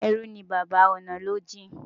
Ẹrú ní baba, ọ̀nà ló jìn.